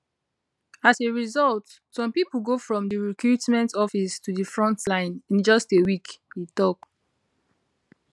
as a result some pipo go from di recruitment office to di front line in just a week e tok